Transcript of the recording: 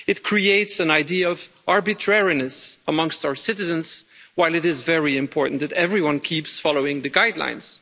It creates an idea of arbitrariness amongst our citizens, while it is very important that everyone keeps following the guidelines.